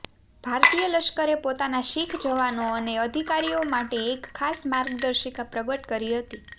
ભારતીય લશ્કરે પોતાના શીખ જવાનો અને અધિકારીઓ માટે એક ખાસ માર્ગદર્શિકા પ્રગટ કરી હતી